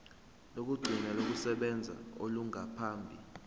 lokugcina lokusebenza olungaphambi